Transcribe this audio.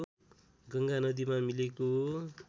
गङ्गा नदीमा मिलेको